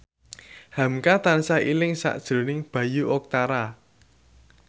hamka tansah eling sakjroning Bayu Octara